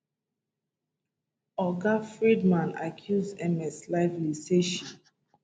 oga freedman accuse ms lively say she